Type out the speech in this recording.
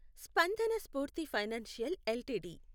Spandana Sphoorty financial LTD